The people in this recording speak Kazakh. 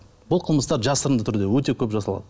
бұл қылмыстар жасырынды түрде өте көп жасалады